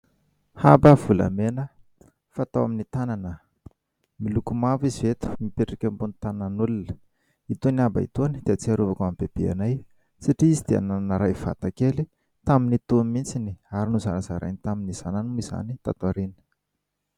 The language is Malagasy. Haba volamena fatao amin'ny tanana, miloko mavo izy eto mipetraka ambon'ny tanan'olona; itony haba itony dia ahatsiarovako an'i bebeanay satria izy dia nanana iray vatakely tamin'itony mihitsy ary nozarazarainy tamin'ny zanany moa izany taty aoriana.